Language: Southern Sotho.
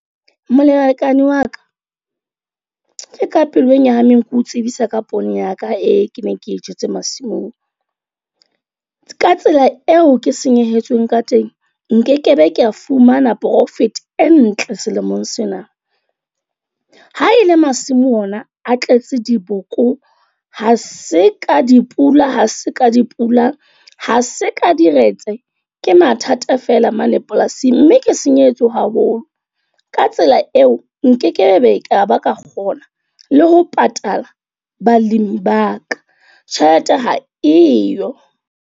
Molekane wa ka, ke ka pelong ya nyahameng ke o tsebisa ka poone ya ka eo ke neng ke e jetse masimong. Ka tsela eo ke senyehetsweng ka teng. Nkekebe kea fumana profit e ntle selemong sena. Ha e le masimo ona a tletse diboko, ha se ka di pula, ha se ka di pula, ha se ka di retse ke mathata feela mane polasing. Mme ke senyehetswe haholo. Ka tsela eo, nkekebe ka ba ka kgona le ho patala balemi ba ka. Tjhelete ha eyo.